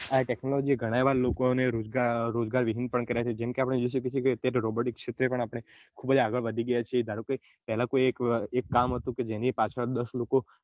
આ technology લોકો ને રોજગાર વિહિન પણ કાર્ય છે robot ક્ષેત્રે આપને ખુબ જ આગળ વધી ગયા છે ધારોકે પેલાં એક કામ હતું જેની પાછળ દસ લોકો